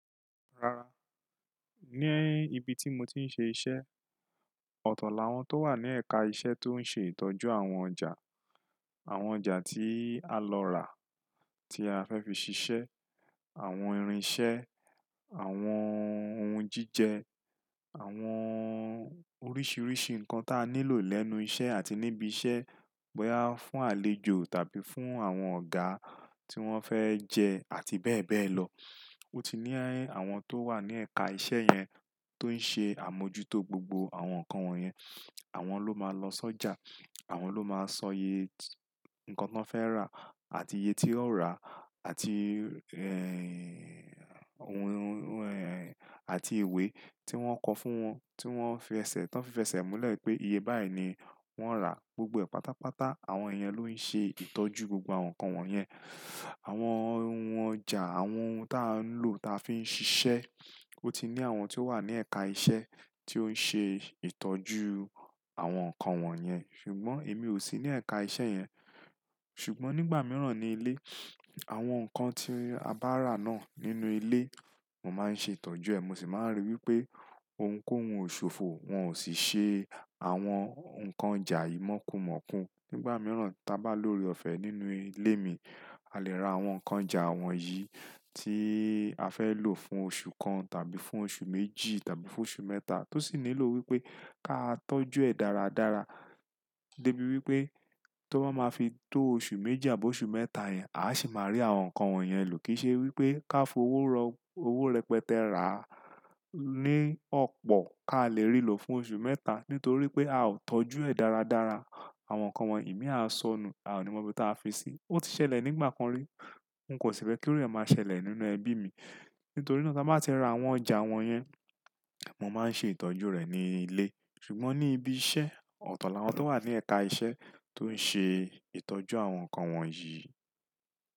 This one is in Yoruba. Rara, ní ibi tí mo ti ń ṣe iṣẹ́, ọ̀tọ̀la wọn tó wà ní ẹ̀ka iṣẹ́ tó ń ṣe ìtọ́jú àwọn ọjà, àwọn ọjà tí a lọ rà, tí a fẹ́ fi ṣiṣẹ́, àwọn irinṣẹ́, àwọn ohun jíjẹ, àwọn oríṣiríṣi nǹkan tá nílò lẹ́nu iṣẹ́ àti níbi iṣẹ́, bóyá fún àlejò tàbí fún àwọn ọ̀gá tí wọ́n fẹ́ jẹ àti bẹ́ẹ̀ bẹ́ẹ̀ lọ. Ó ti ní àwọn tó wà ní ẹ̀ka iṣẹ́ yẹn tó ń ṣe àmójútó gbogbo àwọn nǹkan wọ̀nyẹn. Àwọn ló máa lọ sọ́jà, àwọn ló máa sọ yé nǹkan tán fẹ́ rà àti iye tí ó rà àti, ẹ́, ohun, ẹ́, àti ìwé tí wọ́n kọ fún wọn tí wọ́n fi ẹsẹ̀ tán fẹsẹ̀ mọ́lẹ̀ pé iye báyìí ni wọ́n rà. Gbogbo pátápátá àwọn ènìyàn ló ń ṣe ìtọ́jú gbogbo àwọn nǹkan wọ̀nyẹn. Àwọn ohun ọjà, àwọn ohun tá ń lò tá fi ń ṣiṣẹ́, ó ti ní àwọn tó wà ní ẹ̀ka iṣẹ́ tí ó ń ṣe ìtọ́jú àwọn nǹkan wọ̀nyẹn. Ṣùgbọ́n èmi ò sí ní ẹ̀ka iṣẹ́ yẹn. Ṣùgbọ́n nígbà mìíràn ní ilé, àwọn nǹkan tí a bá rà náà nínú ilé, mo máa ń ṣe ìtọ́jú ẹ̀. Mo sì máa ń rí wí pé ohunkóhun ò ṣòfò, wọn ò sì ṣe àwọn nǹkan ọjà yìí mọ́kunmọ́kun. Nígbà mìíràn tá bá lórí ọ̀fẹ́ nínú ilé mi, a lè ra àwọn nǹkan ọjà wọ̀nyí tí a fẹ́ lò fún oṣù kan tàbí fún oṣù méjì tàbí fún oṣù mẹ́ta tó sì nílò wí pé ká tọ́jú ẹ̀ dáradára dé bí wí pé tó bá máa fi tó oṣù méjì àbọ́ oṣù mẹ́ta yẹn, àá sì máa rí àwọn nǹkan wọ̀nyẹn lò. Kì í ṣe wí pé ká fowó rọ, owó rẹpẹtẹ rà á ní ọ̀pọ̀ ká lè rí lò fún oṣù mẹ́ta nítorí pé a ò tọ́jú ẹ̀ dáradára. Àwọn nǹkan wọ̀nyí, èmi á sọnù, a ò ní mọ ibi tá fi sí. Ó ti ṣẹlẹ̀ nígbà kan rí, n kò síbẹ̀ kí ó rẹ̀ máa ṣẹlẹ̀ nínú ẹbí mi. Nítorí náà tá bá ti ra àwọn ọjà wọ̀nyẹn, mo máa ń ṣe ìtọ́jú rẹ̀ ní ilé. Ṣùgbọ́n ní ibi iṣẹ́, ọ̀tọ̀la àwọn tó wà ní ẹ̀ka iṣẹ́ tó ń ṣe ìtọ́jú àwọn nǹkan wọ̀nyí.